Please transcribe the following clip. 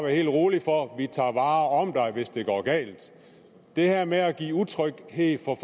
helt rolig for vi tager vare om dig hvis det går galt det her med at give utryghed for